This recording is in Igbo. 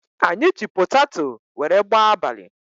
Anyị ji potato wéré gbaa abalị